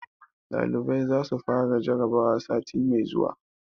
Ɗalibai za su fara jarabawa sati mai zuwa.